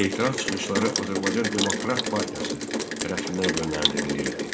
Etiraz çıxışları Azərbaycan Demokrat Partiyası tərəfindən yönləndirilirdi.